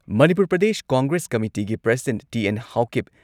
Manipur Pradesh Congress ꯀꯃꯤꯇꯤꯒꯤ president T N. Haokip,